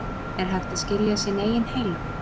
Er hægt að skilja sinn eigin heila?